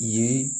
Ye